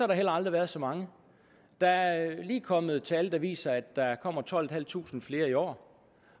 der heller aldrig været så mange der er lige kommet tal der viser at der kommer tolvtusinde flere i år